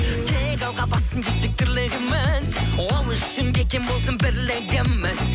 тек алға бассын десең тірлігіміз ол үшін бекем болсын бірлігіміз